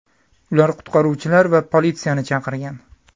Ular qutqaruvchilar va politsiyani chaqirgan.